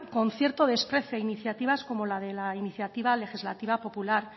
con cierto desprecio a iniciativas como la de la iniciativa legislativa popular